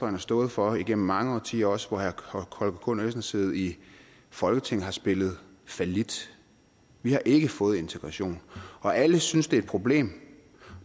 har stået for igennem mange årtier også hvor herre holger k nielsen har siddet i folketinget har spillet fallit vi har ikke fået integration og alle synes det er et problem